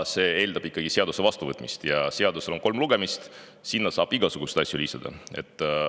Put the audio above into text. See eeldab siis ikkagi seaduse vastuvõtmist ja seadusel on kolm lugemist, sinna saab igasuguseid asju lisada.